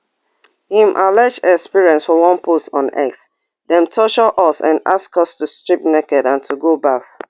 im alleged experience for one post on xdem torture us and ask us to strip naked and to go baff